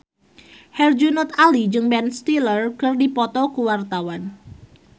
Herjunot Ali jeung Ben Stiller keur dipoto ku wartawan